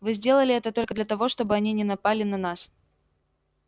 вы сделали это только для того чтобы они не напали на нас